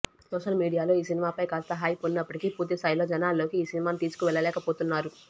social మీడియాలో ఈ సినిమాపై కాస్త హైప్ ఉన్నప్పటికీ పూర్తిస్థాయిలో జనాల్లోకి ఈ సినిమాను తీసుకువెళ్లలేకపోతున్నారు